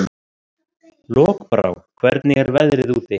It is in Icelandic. Lokbrá, hvernig er veðrið úti?